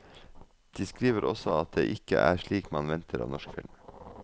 De skriver også at det ikke er slikt man venter av norsk film.